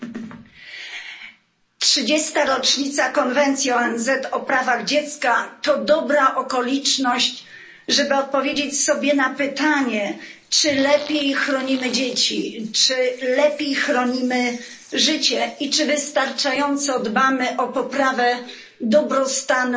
Pani Przewodnicząca! Trzydziesta rocznica konwencji ONZ o prawach dziecka to dobra okoliczność, żeby odpowiedzieć sobie na pytanie, czy lepiej chronimy dzieci, czy lepiej chronimy życie i czy wystarczająco dbamy o poprawę dobrostanu